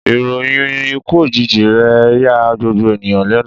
Ìròyìn ikú òjijì rè ya gbogbo ènìyàn lénu